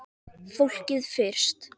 Fólkið fyrst!